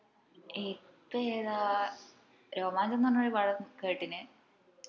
ഇപ്പൊ ഏതാ രോമാഞ്ചംന്ന് പറഞ്ഞ ഒരു പടം കേട്ടിന്